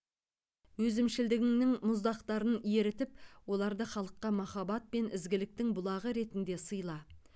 өзімшілдігіңнің мұздақтарын ерітіп оларды халыққа махаббат пен ізгіліктің бұлағы ретінде сыйла